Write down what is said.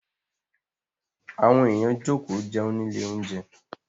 Àwọn èèyàn jókòó jẹun nílé oúnjẹ.